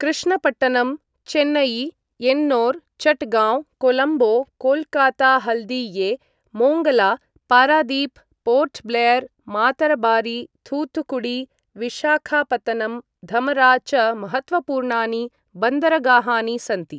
Krishnapatnam, Chennai, Ennore, Chittagong, Colombo, Kolkata Haldia, Mongla, Paradip, Port Blair, Matarbari, Thoothukudi, Visakhapatnam, Dhamra च महत्त्वपूर्णानि बन्दरगाहानि सन्ति ।